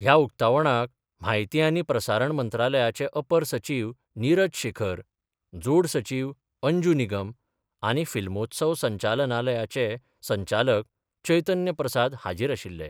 ह्या उक्तावणाक म्हायती आनी प्रसारण मंत्रालयाचे अपर सचीव निरज शेखर, जोड सचीव अंजू निगम आनी फिल्मोत्सव संचालनालयाचे संचालक चैतन्य प्रसाद हाजीर आशिल्ले.